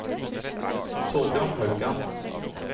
Thorbjørn Haugan